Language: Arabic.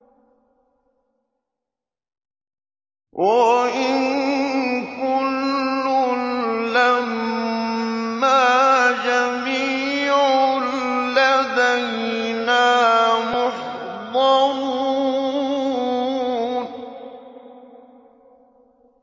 وَإِن كُلٌّ لَّمَّا جَمِيعٌ لَّدَيْنَا مُحْضَرُونَ